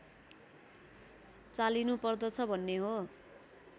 चालिनुपर्दछ भन्ने हो